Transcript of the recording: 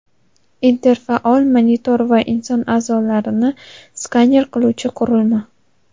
interfaol monitor va inson a’zolarini skaner qiluvchi qurilma.